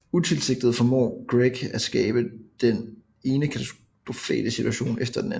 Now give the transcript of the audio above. Utilsigtet formår Greg at skabe den ene katastrofale situation efter den anden